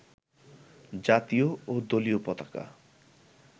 জাতীয় ও দলীয় পতাকা